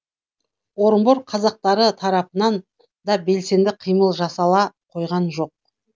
орынбор казактары тарапынан да белсенді қимыл жасала қойған жоқ